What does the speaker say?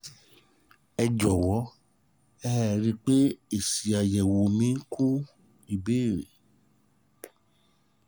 ẹ jọ̀wọ́ ẹ rí i pé mo fi èsì àyẹ̀wò mi kún ìbéèrè